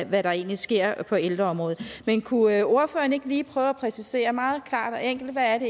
hvad der egentlig sker på ældreområdet men kunne ordføreren ikke lige prøve at præcisere meget klart og enkelt hvad